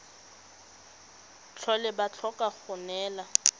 tlhole ba tlhoka go neelana